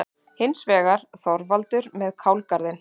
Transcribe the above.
Hins vegar: Þorvaldur með kálgarðinn.